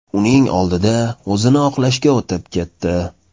Uning oldida o‘zini oqlashga o‘tib ketdi.